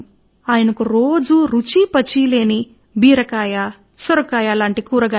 ప్రతి రోజు ఆయన వంటవాడు ఆయనకు రుచీ పచీ లేని కూరగాయలు తినిపించేవాడు